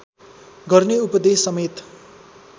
गर्ने उपदेशसमेत